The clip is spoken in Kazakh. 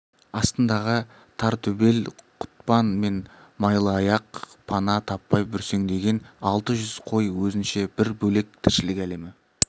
астындағы тортөбел құтпан мен майлыаяқ пана таппай бүрсеңдеген алты жүз қой өзінше бір бөлек тіршілік әлемі